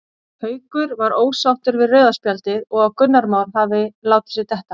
Haukur var ósáttur við rauða spjaldið og að Gunnar Már hafi látið sig detta.